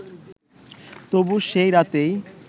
তবু সেই রাতেই